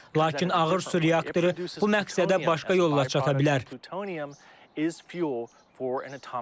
Lakin ağır su reaktoru bu məqsədə başqa yolla çata bilər.